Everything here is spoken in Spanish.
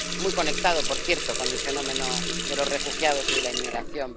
Está muy conectado, por cierto, con el fenómeno de los refugiados y de la inmigración.